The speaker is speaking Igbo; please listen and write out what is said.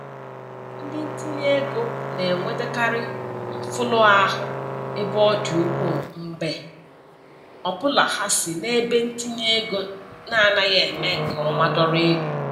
Ndi ntinyeego na-enwetakarị mfulahụ ebe ọ dị ukwu mgbe ọbụla ha si n'ebentinyeego na-anaghị eme nke ọma dọrọ ego.